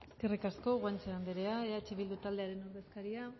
eskerrik asko guanche andrea eh bildu taldearen ordezkaria